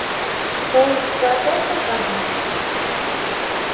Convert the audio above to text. то есть ты опять пропадёшь